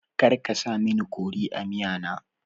Karka sa mini kori a miya na